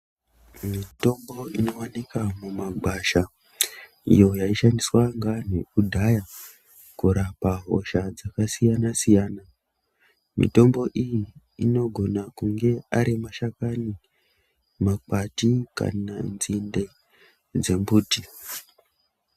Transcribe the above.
Mitombo inowanikwa mumagwasha, iyo yaishandiswa ngaantu kudhaya kurapa hosha dzakasiyana-siyana. Mitombo iyi inogona kunge ari mashakani, makwati kana nzinde dzembuti.